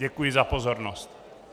Děkuji za pozornost.